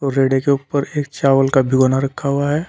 के ऊपर एक चावल का भिगोना रखा हुआ है।